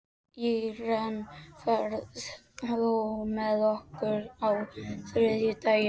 Íren, ferð þú með okkur á þriðjudaginn?